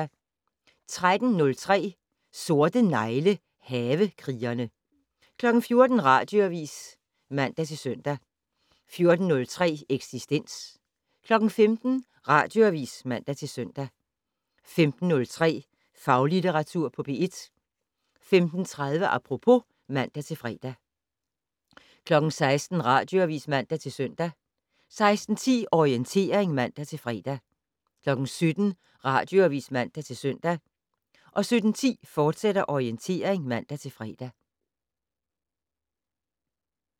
13:03: Sorte negle: Havekrigerne 14:00: Radioavis (man-søn) 14:03: Eksistens 15:00: Radioavis (man-søn) 15:03: Faglitteratur på P1 15:30: Apropos (man-fre) 16:00: Radioavis (man-søn) 16:10: Orientering (man-fre) 17:00: Radioavis (man-søn) 17:10: Orientering, fortsat (man-fre)